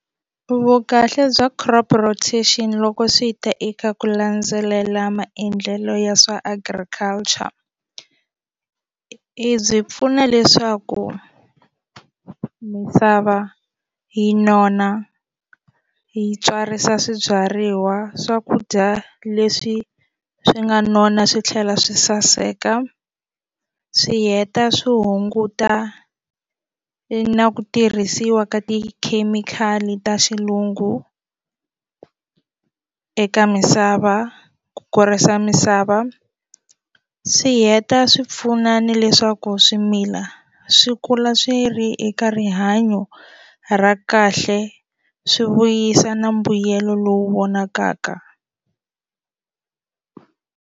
Vukahle bya crop rotation loko swi ta eka ku landzelela maendlelo ya swa Agriculture i byi pfuna leswaku misava yi nona yi tswarisa swibyariwa swakudya leswi swi nga nona swi tlhela swi saseka swi heta swi hunguta na ku tirhisiwa ka tikhemikhali ta xilungu eka misava ku kurisa misava swi heta swi pfuna ni leswaku swimila swi kula swi ri eka rihanyo ra kahle swi vuyisa na mbuyelo lowu vonakaka.